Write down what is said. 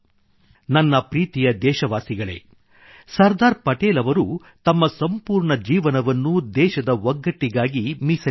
ನನ್ನ ಪ್ರೀತಿಯ ದೇಶವಾಸಿಗಳೇ ಸರ್ದಾರ್ ಪಟೇಲ್ ಅವರು ತಮ್ಮ ಸಂಪೂರ್ಣ ಜೀವನವನ್ನು ದೇಶದ ಒಗ್ಗಟ್ಟಿಗಾಗಿ ಮೀಸಲಿಟ್ಟರು